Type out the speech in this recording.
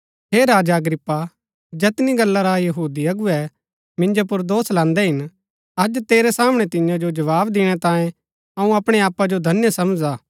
हे राजा अग्रिप्पा जैतनी गल्ला रा यहूदी अगुवै मिन्जो पुर दोष लान्दै हिन अज तेरै सामणै तियां जो जवाव दिणै तांयें अऊँ अपणै आपा जो धन्य समझदा हा